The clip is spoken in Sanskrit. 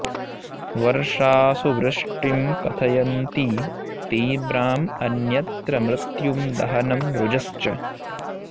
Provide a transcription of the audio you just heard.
वर्षासु वृष्टिं कथयन्ति तीव्रां अन्यत्र मृत्युं दहनं रुजश्च